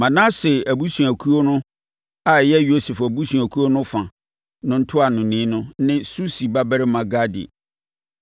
Manase abusuakuo (a ɛyɛ Yosef abusuakuo no mu fa) no ntuanoni ne Susi babarima Gadi;